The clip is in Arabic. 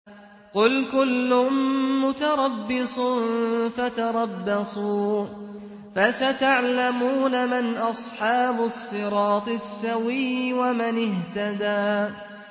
قُلْ كُلٌّ مُّتَرَبِّصٌ فَتَرَبَّصُوا ۖ فَسَتَعْلَمُونَ مَنْ أَصْحَابُ الصِّرَاطِ السَّوِيِّ وَمَنِ اهْتَدَىٰ